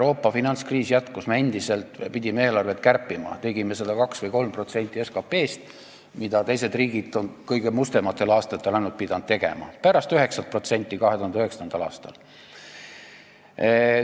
Me pidime endiselt eelarvet kärpima, me kärpisime seda suurusjärgus 2% või 3% SKP-st, teised riigid on seda ainult kõige mustematel aastatel pidanud tegema, pärast 9%-list kärbet 2009. aastal.